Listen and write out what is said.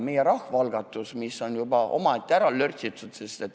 Meie rahvaalgatus aga on juba ette ära lörtsitud.